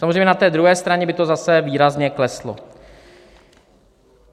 Samozřejmě, na té druhé straně by to zase výrazně kleslo.